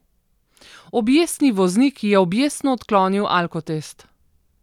Objestni voznik je objestno odklonil alkotest.